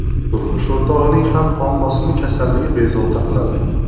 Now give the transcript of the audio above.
Turmush o‘rtog‘ining ham qon bosimi kasalligi bezovta qiladi.